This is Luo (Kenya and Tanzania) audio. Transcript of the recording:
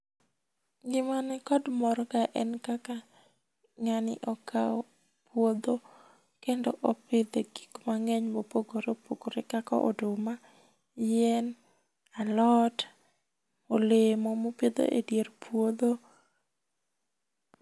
Gima ni kod mor kae en kaka ng'ani okawo puodho kendo ipidhe gik mang'eny mopogore opogore kaka oduma, yie, alot ,olemo mopidho e dier puodho.